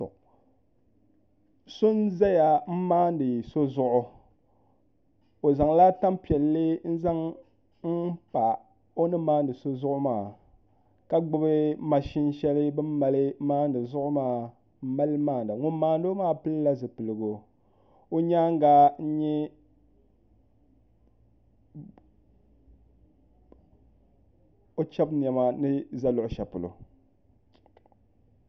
So n ʒɛya n maandi so zuɣu o zaŋla tanpiɛlli n pa o ni maandi so zuɣu maa ka gbubi mashin shɛli bi ni mali maandi zuɣu maa n mali maanda ŋun maandi maa pilila zipiligu o nyaanga n nyɛ o chɛbu niɛma ni ʒɛ luɣushɛli polo